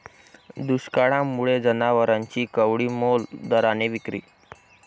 दुष्काळामुळे जनावरांची कवडीमोल दराने विक्री